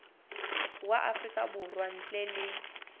wa afrika borwa ntle le